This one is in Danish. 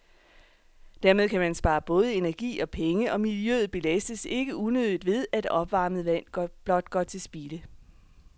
Dermed kan man spare både energi og penge, og miljøet belastes ikke unødigt ved, at opvarmet vand blot går til spilde.